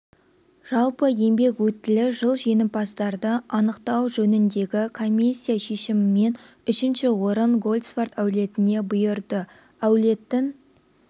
жалпы еңбек өтілі жыл жеңімпаздарды анықтау жөніндегі комиссия шешімімен үшінші орын гольцварт әулетіне бұйырды әулеттің